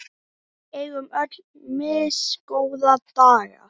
Við eigum öll misgóða daga.